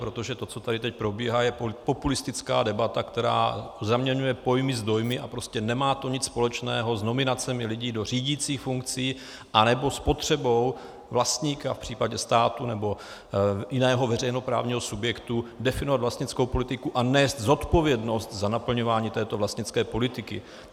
Protože to, co tady teď probíhá, je populistická debata, která zaměňuje pojmy s dojmy a prostě nemá to nic společného s nominacemi lidí do řídících funkcí anebo s potřebou vlastníka v případě státu nebo jiného veřejnoprávního subjektu definovat vlastnickou politiku a nést zodpovědnost za naplňování této vlastnické politiky.